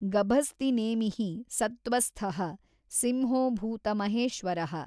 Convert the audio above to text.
ಗಭಸ್ತಿನೇಮಿಃ ಸತ್ತ್ವಸ್ಥಃ ಸಿಂಹೋ ಭೂತಮಹೇಶ್ವರಃ।